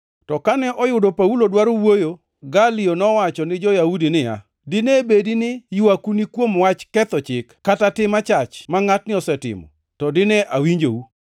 To kane oyudo Paulo dwaro wuoyo, Galio nowacho ni jo-Yahudi niya, “Dine bedi ni ywaku ni kuom wach ketho chik kata tim achach ma ngʼatni osetimo, to dine awinjou.